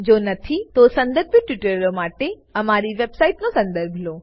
જો નથી તો સંદર્ભિત ટ્યુટોરીયલો માટે અમારી વેબસાઈટનો સંદર્ભ લો